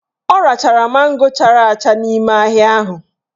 Ọ rachara mango chara acha n'ime ahịa ahụ